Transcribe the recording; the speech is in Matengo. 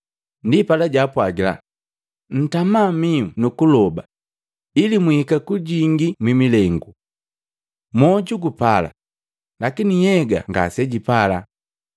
Ndipala jaapwagila, “Ntama mihu nu kuloba ili mwihika kujingii mwi milengu. Moju gupala, lakini nhyega ngasejipala.”